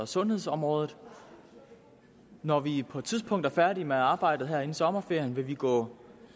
sundhedsområdet når vi på et tidspunkt er færdige med arbejdet her inden sommerferien vil vi gå